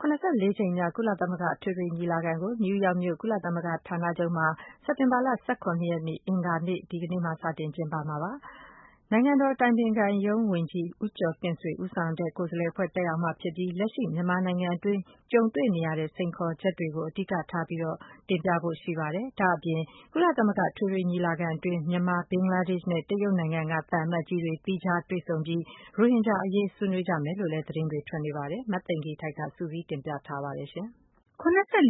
၇၄ ကြိမ်မြောက် ကုလသမဂ္ဂ အထွေထွေ ညီလာခံကို အမေရိကန် ပြည်ထောင်စု နယူးယောက်မြို့ ကုလသမဂ္ဂ ဌာနချုပ်မှာ စက်တင်ဘာလ ၁၇ ရက်နေ့ အင်္ဂါနေ့မှာ စတင်ကျင်းပမှာပါ။ နိုင်ငံတော် အတိုင်ပင်ခံရုံး ဝန်ကြီး ဦးကျော်တင့်ဆွေ ဦးဆောင်တဲ့ ကိုယ်စားလှယ် အဖွဲ့ တက်ရောက်မှာ ဖြစ်ပြီး လက်ရှိ မြန်မာနိုင်ငံတွင်း ကြုံတွေ့နေရတဲ့ အခြေအနေ စိန်ခေါ်ချက်တွေကို အဓိက ထားတင်ပြဖို့ ရှိနေပါတယ်။ ဒါ့အပြင် ကုလသမဂ္ဂ အထွေထွေ ညီလာခံ အတွင်း မြန်မာ၊ ဘင်္ဂလားဒေရှ့်နဲ့ တရုတ်နိုင်ငံက သံအမတ်ကြီးတွေ သီးခြားတွေ့ဆုံပြီး ရိုဟင်ဂျာ အရေး ဆွေးနွေးကြမယ်လို့လည်း သတင်းတွေ ထွက်နေပါတယ်။ မသိင်္ဂ ီထိုက် စုစည်းတင်ပြထားပါတယ်။ ၇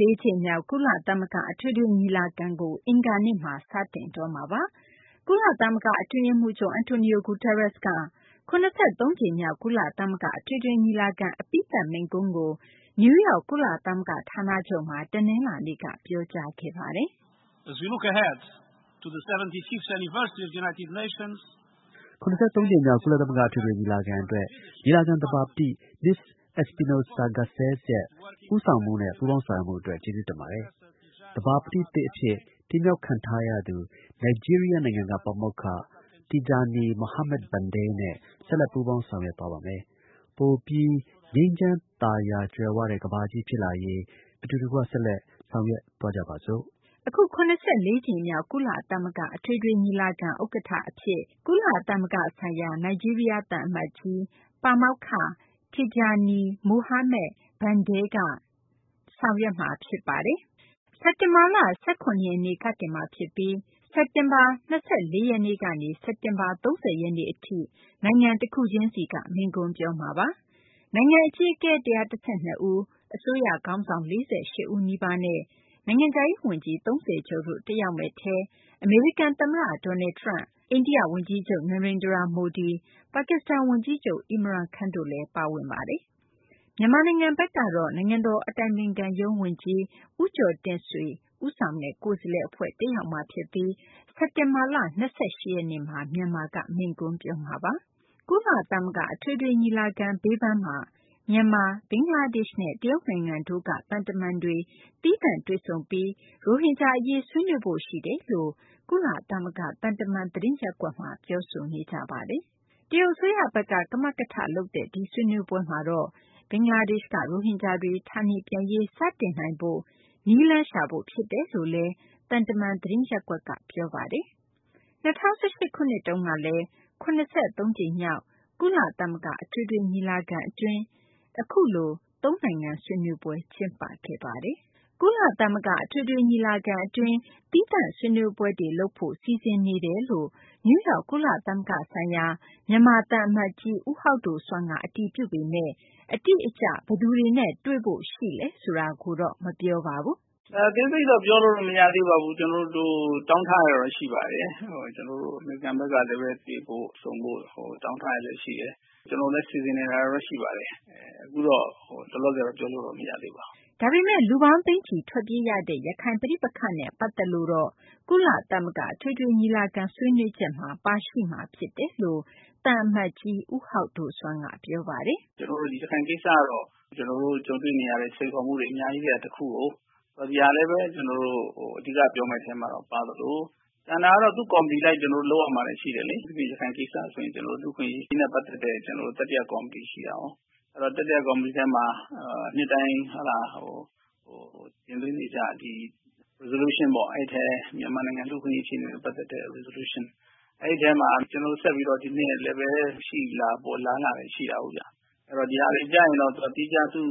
၄ ကြိမ်မြောက် ကုလသမဂ္ဂ အထွေထွေ ညီလာခံကို အင်္ဂါနေ့မှာ စတင်တော့မှာပါ။ ကုလသမဂ္ဂ အတွင်းရေးမှူးချုပ် Antonio Guterres က ၇၃ ကြိမ်မြောက် ကုလသမဂ္ဂ အထွေထွေ ညီလာခံ အပြီးသတ် မိန့်ခွန်းကို နယူးယောက် ကုလသမဂ္ဂ ဌာနချုပ်မှာ တနလာၤနေ့မှာ ပြောကြားခဲ့ပါတယ်။ “ ၇၃ ကြိမ်မြောက် ကုလသမဂ္ဂ အထွေထွေ ညီလာခံ အတွက် ညီလာခံ သဘာပတိ မစ္စ Espinosa Garcés ရဲ့ ဦးဆောင်မှုနဲ့ ပူးပေါင်းဆောင်ရွက်မှု အတွက် ကျေးဇူးတင်ပါတယ်။ သဘာပတိသစ် အဖြစ် တင်မြှောက်ခံထားရသူ နိုင်ဂျီးရီးယား နိုင်ငံက ပါမောက္ခ Tijjani Muhammad-Bande နဲ့ ဆက်လက် ပူးပေါင်းဆောင်ရွက်သွားပါမယ်။ ပိုပြီး ငြိမ်းချမ်းသာယာ ကြွယ်ဝတဲ့ ကမ္ဘာကြီး ဖြစ်လာရေး အတူတကွ ဆက်လက် ဆောင်ရွက်သွားကြပါစို့။” အခု ၇၄ ကြိမ်မြောက် ကုလသမဂ္ဂ အထွေထွေ ညီလာခံ ဥက္ကဌ အဖြစ် ကုလသမဂ္ဂဆိုင်ရာ နိုင်ဂျီးရီးယား သံအမတ်ကြီး Tijjani Muhammad-Bande က ဆောင်ရွက်မှာပါ။ စက်တင်ဘာလ ၁၇ ရက်နေ့ကနေ စတင်မှာ ဖြစ်ပြီး စက်တင်ဘာ ၂၄ ရက်နေ့ကနေ စက်တင်ဘာလ ၃၀ ရက်နေ့ အထိ နိုင်ငံတခုချင်းစီက မိန့်ခွန်းပြောမှာပါ။ နိုင်ငံ အကြီးအကဲ ၁၁၂ ဦး၊ အစိုးရ ခေါင်းဆောင် ၄၈ ဦး နီးပါးနဲ့ နိုင်ငံခြားရေး ဝန်ကြီး ၃၀ ကျော်တို့ တက်ရောက်မယ့် အထဲ အမေရိကန် သမ္မတ Donald Trump၊ အိန္ဒိယ ဝန်ကြီးချုပ် Narandra Modi၊ ပါကစ္စတန် ဝန်ကြီးချုပ် Irman Khan တို့လည်း ပါဝင်ပါတယ်။ မြန်မာနိုင်ငံ ဘက်ကတော့ နိုင်ငံတော် အတိုင်ပင်ခံရုံး ဝန်ကြီး ဦးကျော်တင့်ဆွေဦးဆောင် တက်ရောက်မှာဖြစ်ပြီး စက်တင်ဘာလ ၂၈ ရက်နေ့မှာ မြန်မာက မိန့်ခွန်းပြောမှာပါ။ ကုလသမဂ္ဂ အထွေထွေ ညီလာခံ အတွင်း မြန်မာ၊ ဘင်္ဂလားဒေရှ့်နဲ့ တရုတ်နိုင်ငံတို့က သံတမန်တွေ သီးသန့် တွေ့ဆုံပြီး ရိုဟင်ဂျာ အရေး ဆွေးနွေးဖို့ ရှိတယ်လို့ ကုလသမဂ္ဂ သံတမန် သတင်းရပ်ကွက်မှာ ပြောဆိုနေကြပါတယ်။ တရုတ်အစိုးရဘက်က ကမကထ လုပ်တဲ့ ဒီဆွေးနွေးပွဲမှာတော့ ဘင်္ဂလားဒေရှ့်က ရိုဟင်ဂျာတွေ ဌာနေပြန်ရေး စတင်နိုင်ဖို့ နည်းလမ်းရှာဖို့ ဖြစ်တယ်လို့လည်း သံတမန် သတင်းရင်းမြစ်တွေက ပြောဆိုကြပါတယ်။၂၀၁၈ ခုနှစ်တုန်းက ၇၃ ကြိမ်မြောက် ကုလသမဂ္ဂ အထွေထွေ ညီလာခံမှာတော့ အခုလို သုံးနိုင်ငံ ဆွေးနွေးပွဲ လုပ်ခဲ့ပါတယ်။ ကုလသမဂ္ဂ အထွေထွေ ညီလာခံ အတွင်း သီးသန့်ဆွေးနွေးပွဲတွေ လုပ်ဖို့ စီစဉ်နေတာတွေ ရှိနေကြောင်း နယူးယောက် ကုလသမဂ္ဂ ဆိုင်ရာ မြန်မာ သံအမတ်ကြီး ဦးဟောက်ဒိုဆွမ်းက အတည်ပြုပေမယ့် အတိအကျ ဘယ်သူတွေနဲ့ တွေ့ဖို့ ရှိလဲ ဆိုတာကိုတော့ မပြောပါဘူး။ “ အသေးစိတ်တော့ ကျနော်တို့ပြောလို့မရသေးပါဘူး။ ကျနော်တို့ တောင်းထားတာတော့ရှိပါတယ်။ ကျနေ်ာတို့ဘက်ကလည်း တွေ့ဆုံဖို့ တောင်းထားတာတွေလည်းရှိတယ်။ ကျနော်တို့လည်း စီစဉ်နေတာတော့ရှိပါတယ်။ အခုလောလောဆည်တော့ ပြောလို့တော့ မရသေးပါဘူး။” ဒါပေမယ့် ရိုဟင်ဂျာတွေ သိန်းချီ ထွက်ပြေးခဲ့ရတဲ့ ရခိုင် ပဋိပက္ခနဲ့ ပတ်သက်လို့ကတော့ ကုလသမဂ္ဂ အထွေထွေ ညီလာခံ ဆွေးနွေးချက်မှာ ပါရှိမှာ ဖြစ်တယ်လို့ သံအမတ်ကြီး ဦးဟောက်ဒိုဆွမ်းက ပြောပါတယ်။ “ရခိုင်ကိစ္စကတော့ ကျနော်တို့ ကြုံတွေ့နေရတဲ့ စိန်ခေါ်မှုတွေ အများကြီးထဲက တခုကို ဒါကိုလည်း ကျနော်တို့ အဓိက ပြောမယ့်အထဲမှာ ပါသလို ကျန်တာကတော့ သူ့ကော်မတီအလိုက် လုပ်ရမှာတွေ ရှိတယ်လေ။ အထူးသဖြင့် ရခိုင်ကိစ္စဆိုရင် လူ့အခွင့်အရေးနဲ့ ပတ်သက်တဲ့ တတိယ ကော်မတီရှိတာကို အဲဒီ တတိယကော်မတီထဲမှာ နှစ်တိုင်း တင်သွင်းနေကြ resolution အဲဒီအထဲ မြန်မာနိုငံ လူ့အခွင့်အရေးအခြေအနေနဲ့ ပတ်သက်တဲ့ resolution မှာ ကျနော်တို့ ဒီနှစ်လည်း ရှိလာဖို့အလားအလာရှိပါတယ်။ ဒါတွေကျရင်တော့ သီးခြား သူ့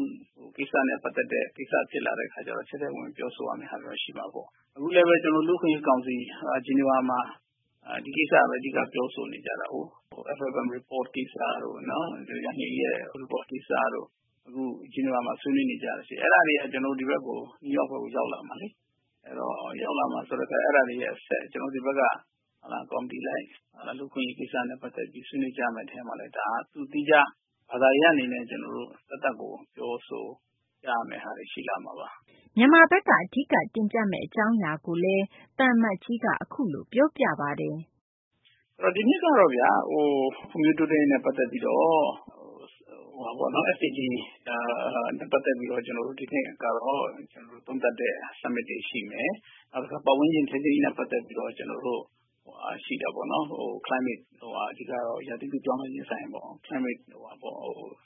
ကိစ္စနဲ့ ပတ်သက်တဲ့ဟာတွေ ဖြစ်လာတော့ ထဲထဲဝင်ဝင်ပြောဆိုရမှာတော့ ရှိလာမှာပေါ့။ အခုလည်း ကျနော်တို့ လူ့အခွင့်အရေးကောင်စီ Geneva မှာ ဒီကိစ္စပဲ အဓိက ပြောဆိုနေကြတာကို FFM report ကိစ္စတို့ ယန်ဟီးလီ report ကိစ္စတို့ Geneva မှာဆွေးနွေးနေတာရှိတယ်။ အဲဒါတွေ ဒီ New York ဘက်ကို ရောက်လာမှာလေ ။ အဲဒါတွေအဆက် ကျနော်တို့ ဒီဘက်က ကော်မတီလိုင်း လူ့အခွင့်အရေးကိစ္စနဲ့ ပတ်သက်ပြီး ဆွေးနွေးကြမယ့်အထဲမှာလည်း ဒါက သူ့သီးခြားဘာသာရပ်အနေနဲ့ ပြောဆိုရမယ့် ဟာတွေ ရှိလာမှာပါ။” ဒါ့အပြင် မြန်မာဘက်က အဓိက တင်ပြမယ့် အကြောင်းအရာတွေကိုလည်း သံအမတ်ကြီးက အခုလို ပြောပါတယ်။ “ဒီနှစ်ကတော့ ဖွံ့ဖြိုးတိုးတက်ရေးနဲ့ ပတ်သက်ပြီးတော့ ကျနော်တို့ တိုက်ရိုက် သုံးသပ်တဲ့ summit တွေရှိမယ်။ ပတ်ဝန်းကျင်ထိန်းသိမ်းရေးနဲ့ ပတ်သက်ပြီးတော့ ရာသီဥတုပြောင်းလဲခြင်းဆိုင်ရာပေါ့ Climate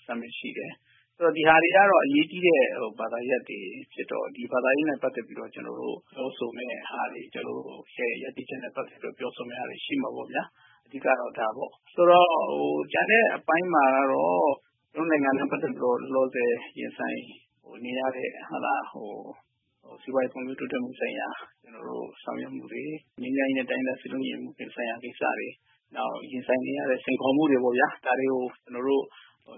summit ရှိမယ်။ ဒါတွေကတော့ အရေးကြီးတဲ့ ဘာသာရပ်တွေဖြစ်တော့ ဒါနဲ့ ပတ်သက်ပြီးတော့ ကျနော်တို့ပြောဆိုမယ့်ဟာတွေ ကျနော်တို့ ရပ်တည်ချက်တွေ ပြောဆိုမှာတွေ ရှိမှာပေါ့ဗျာ အဓိကတော့ ဒါပေါ့။ ဆိုတော့ ကျန်တဲ့အပိုင်းမှာတော့ ကျနော်တို့ နိုင်ငံနဲ့ ပတ်သက်ပြီးတော့ လောလောဆည် ရင်ဆိုင်နေရတဲ့ စီးပွားရေးဖွံ့ဖြိုးတိုးတက်မှု ဆိုင်ရာ ဆောင်ရွက်မှုတွေ ၊ ငြိမ်းချမ်းရေးနဲ့ တိုင်းရင်းသား စည်းလုံးညီညွှတ်မှု ဆိုင်ရာတွေ နောက် ရင်ဆိုင်နေရတဲ့ စိန်ခေါ်မှုတွေပေါ့ဗျာ။ ဒါတွေကို ကျနော်တို့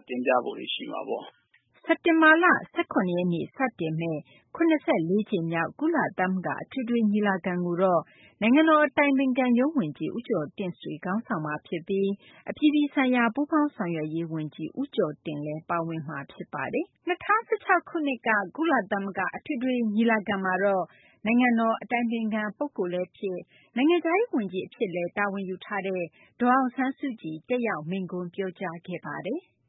တင်ပြဖို့တွေ ရှိမှာပေါ့။” စက်တင်ဘာလ ၁၇ ရက်နေ့ စတင်မယ့် ၇၄ ကြိမ်မြောက် ကုလသမဂ္ဂ အထွေထွေ ညီလာခံကိုတော့ နိုင်ငံတော် အတိုင်ပင်ခံရုံး ဝန်ကြီး ဦးကျော်တင့်ဆွေက ခေါင်းဆောင်မှာ ဖြစ်ပြီး အပြည်ပြည်ဆိုင်ရာ ပူးပေါင်းဆောင်ရွက်ရေး ဝန်ကြီး ဦးကျော်တင်လည်း ပါဝင်မှာ ဖြစ်ပါတယ်။ ၂၀၁၆ ခုနှစ်က ကုလသမဂ္ဂမှာ နိုင်ငံတော် အတိုင်ပင်ခံ ပုဂ္ဂိုလ် လည်းဖြစ် နိုင်ငံခြားရေး ဝန်ကြီး လည်းဖြစ်တဲ့ ဒေါ်အောင်ဆန်းစုကြည်က တက်ရောက် မိန့်ခွန်းပြောကြားခဲ့ပါတယ်။